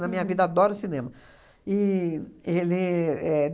Na minha vida, adoro o cinema. E ele éh